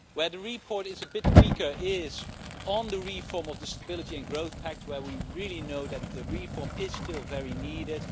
Where the report is a bit weaker is on the reform of the Stability and Growth Pact, where we really know that reform is still very much needed.